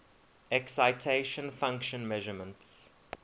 excitation function measurements